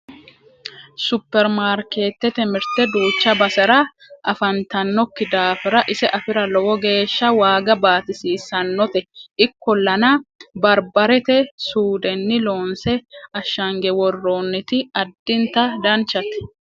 supperimarkeettete mirte duucha basera afantannokki daafira ise afira lowo geeshsha waaga baatisiissannote ikkollana barbarete suudenni loonse ashshange worroonniti addinta danchate